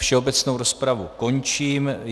Všeobecnou rozpravu končím.